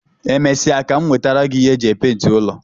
E mesịa ka m nwetara gi ihe m ji epenti ụlọ